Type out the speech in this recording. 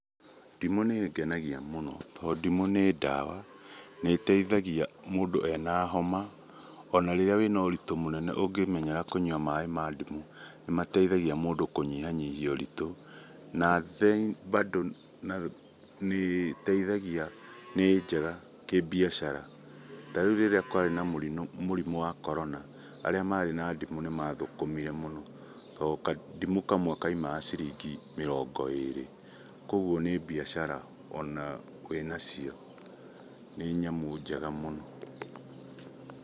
Ndimũ nĩĩngenagia mũno tondũ ndimũ nĩ ndawa. Nĩĩteithagia mũndũ ena homa ona rĩrĩa wĩna ũritũ mũnene ũngĩmenyera kũnyua maaĩ ma ndimũ nĩmateithagia mũndũ kũnyihanyihia ũritũ. Na then nĩ njega kĩbiacara ta rĩu rĩrĩa kwarĩ na mũrimũ wa corona arĩa marĩ na ndimũ nĩmathũkũmire mũno tondũ kandimũ kamwe kaumaga ciringi mĩrongo ĩrĩ. Koguo nĩ biacara ona wĩ nacio, nĩ nyamũ njega mũno.